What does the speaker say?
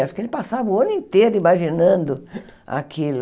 Acho que ele passava o ano inteiro imaginando aquilo.